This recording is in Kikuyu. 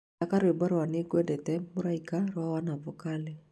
thaka rwĩmbo rwa nĩ ngwendete mũraika rwa wanavokali